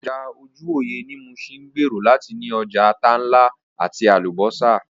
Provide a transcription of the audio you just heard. Ọjà ojúwòyẹ̀ ní Muṣin ń gbèrò láti ní ọjà ata ńlá àti Àlùbọ́sà